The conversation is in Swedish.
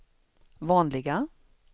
vanliga